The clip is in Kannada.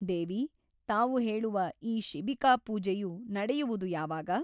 ದೇವಿ ತಾವು ಹೇಳುವ ಈ ಶಿಬಿಕಾ ಪೂಜೆಯು ನಡೆಯುವುದು ಯಾವಾಗ ?